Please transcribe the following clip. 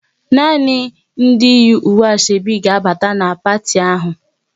Nani ndị yi uwe Asoebi ga abata n' parti ahụ!